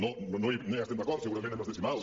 no hi estem d’acord segurament en els decimals